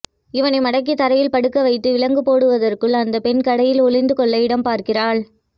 இவனை மடக்கி தரையில் படுக்க வைத்து விலங்கு போடுவதற்குள் அந்த பெண் கடையில் ஒளிந்து கொள்ள இடம் பார்க்கிறாள்